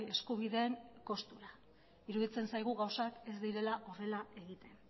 eskubideen kostura iruditzen zaigu gauzak ez direla horrela egiten